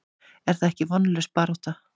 Er þetta ekki vonlaus barátta?